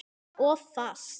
Of fast.